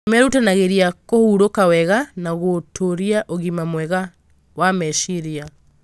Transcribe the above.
Nĩ merutanagĩria kũhurũka wega na gũtũũria ũgima mwega wa meciria.